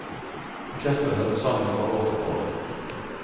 Orkestret settes sammen fra år til år.